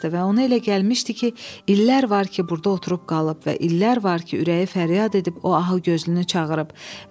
və ona elə gəlmişdi ki, illər var ki, burda oturub qalıb və illər var ki, ürəyi fəryad edib o ahıgözlünü çağırıb.